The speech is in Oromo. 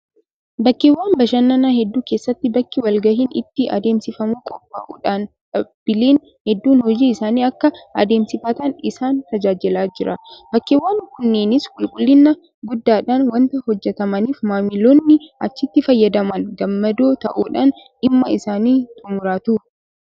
Bakkeewwan bashannanaa hedduu keessatti bakki walgahiin itti adeemsifamu qophaa'uudhaan dhaabbileen hedduun hojii isaanii akka adeemsifatan isaan tajaajilaa jira. Bakkeewwan kunneenis qulqullina guddaadhaan waanta hojjetamaniif maamiloonni achitti fayyadaman gammadoo ta'uudhaan dhimma isaanii xummuratu.